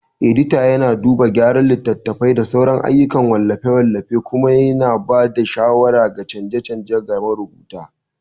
Edita yana duba gyara littattafai da sauran ayyukan wallafe-wallafe kuma yana ba da shawarar canje-canje ga marubuta.